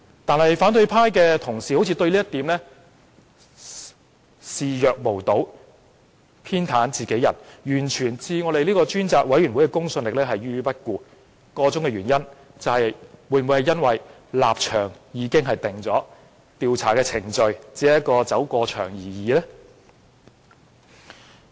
但是，反對派同事對這點視若無睹，偏袒自己人，完全置專責委員會的公信力於不顧，箇中原因是否立場已定，調查程序只是走過場而已？